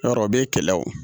Yɔrɔ o bɛ kɛlɛ o